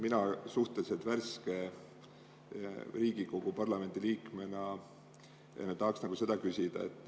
Mina suhteliselt värske Riigikogu liikmena tahaks küsida.